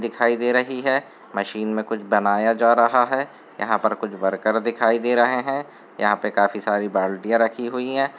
दिखाई दे रही है। मशीन में कुछ बनाया जा रहा है। यहाँ पर कुछ वर्कर दिखाई दे रहे हैं। यहाँ पे काफी सारी बाल्टियां रखी हुई हैं।